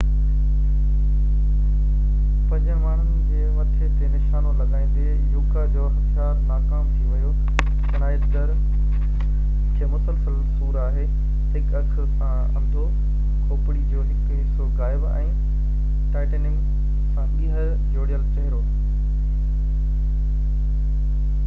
پنجين ماڻهو جي مٿي تي نشانو لڳائيندي يوڪا جو هٿيار ناڪام ٿي ويو شنائيدر کي مسلسل سور آهي هڪ اک سان انڌو کوپڙي جو هڪ حصو غائب ۽ ٽائيٽينيم سان ٻيهر جوڙيل چهرو